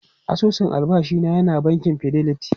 Asusun albashi na yana bankin Fidelity.